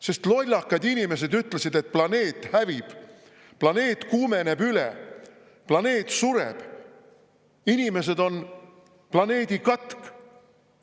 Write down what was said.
Sest lollakad inimesed ütlesid, et planeet hävib, planeet kuumeneb üle, planeet sureb, inimesed on planeedi katk.